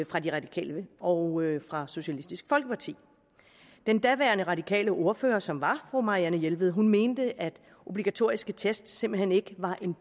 fra de radikale og fra socialistisk folkeparti den daværende radikale ordfører som var fru marianne jelved mente at obligatoriske test simpelt hen ikke var en